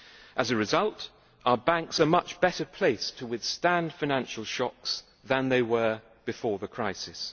As a result, our banks are much better placed to withstand financial shocks than they were before the crisis